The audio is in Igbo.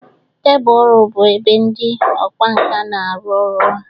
Tebụl ọrụ bụ ebe ndị ọkwá nkà na-arụ ọrụ ha.